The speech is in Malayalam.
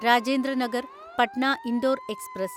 രാജേന്ദ്ര നഗർ പട്ന ഇന്ദോർ എക്സ്പ്രസ്